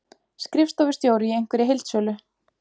Skrifstofustjóri í einhverri heildsölu.